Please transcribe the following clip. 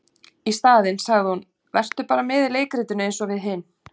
Í staðinn sagði hún:- Vertu bara með í leikritinu eins og við hin.